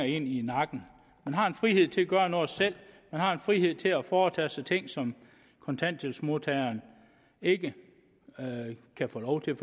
en i nakken man har en frihed til at gøre noget selv man har en frihed til at foretage sig ting som kontanthjælpsmodtageren ikke kan få lov til